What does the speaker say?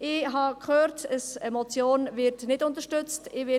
Ich habe gehört, dass eine Motion nicht unterstützt wird.